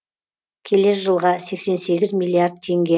келер жылға сексен сегіз миллиард теңге